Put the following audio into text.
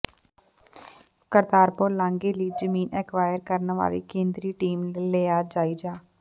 ਕਰਤਾਰਪੁਰ ਲਾਂਘੇ ਲਈ ਜ਼ਮੀਨ ਐਕਵਾਇਰ ਕਰਨ ਵਾਲੀ ਕੇਂਦਰੀ ਟੀਮ ਨੇ ਲਿਆ ਜਾਇਜ਼ਾ